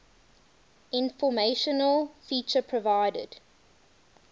informational feature provided